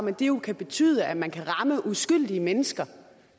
at det jo kan betyde at man kan ramme uskyldige mennesker